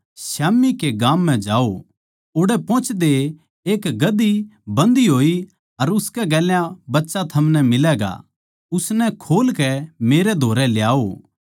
स्याम्ही कै गाम म्ह जाओ ओड़ै पोहोचदये एक गधी बंधी होई अर उसकै गेल्या बच्चा थमनै मिलैगा उननै खोल कै मेरै धोरै ल्याओ